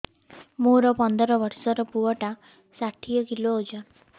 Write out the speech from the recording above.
ମୋର ପନ୍ଦର ଵର୍ଷର ପୁଅ ଟା ଷାଠିଏ କିଲୋ ଅଜନ